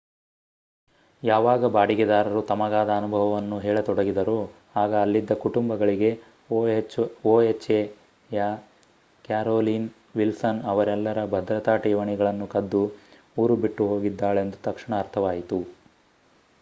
ಯಾವಾಗ ಬಾಡಿಗೆದಾರರು ತಮಗಾದ ಅನುಭವ ಹೇಳತೊಡಗಿದರೋ ಆಗ ಅಲ್ಲಿದ್ದ ಕುಟುಂಬಗಳಿಗೆ ohaಯ ಕ್ಯಾರೋಲೀನ್ ವಿಲ್ಸನ್ ಅವರೆಲ್ಲರ ಭದ್ರತಾ ಠೇವಣಿಗಳನ್ನು ಕದ್ದು ಊರು ಬಿಟ್ಟು ಹೋಗಿದ್ದಾಳೆಂದು ತಕ್ಷಣ ಅರ್ಥವಾಯಿತು